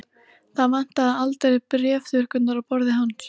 Það vantaði aldrei bréfþurrkurnar á borði hans.